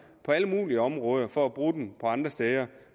alle mulige områder for at bruge dem andre steder